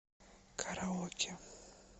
караоке